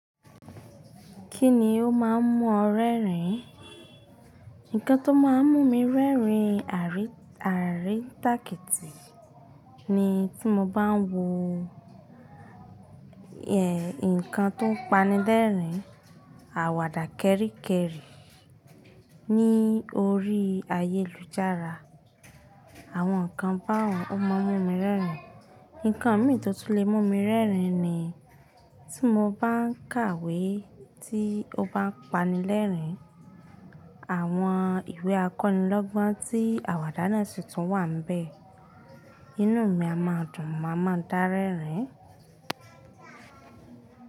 Kíni ó máa ń mú ọ rẹ́rìn? Nǹkan tó máa ń mú mi rẹ́rìn àríntàkitì ni tí mo bá ń wo, ẹ, nǹkan tó ń panilẹ́rìn, àwàdà kẹ́ríkẹ́rí ní orí ayélujára, àwọn nǹkan bá un ó máa ń mú mi rẹ́rìn. Nǹkan mìí tó tún lè mú mi rẹ́rìn ni tí mo bá ń kàwé tí ó bá ń panilẹ́rìn, àwọn ìwé akọni lọ́gbọ́n tí àwàdà náà ṣì tún wà níbẹ̀, inú mi a máa dùn, màá ma dà rẹ́rìn.